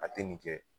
A tɛ nin kɛ